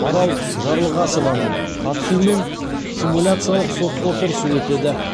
марал жарылғасованың қатысуымен симуляциялық сот отырысы өтеді